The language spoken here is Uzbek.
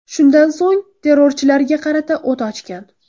Shundan so‘ng, terrorchilarga qarata o‘t ochgan.